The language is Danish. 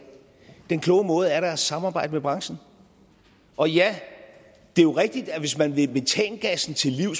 den kloge måde er da at samarbejde med branchen og ja det er jo rigtigt at hvis man vil metangassen